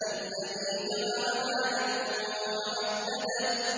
الَّذِي جَمَعَ مَالًا وَعَدَّدَهُ